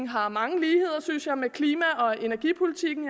har mange ligheder synes jeg med klima og energipolitikken